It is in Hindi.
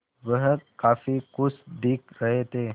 वह काफ़ी खुश दिख रहे थे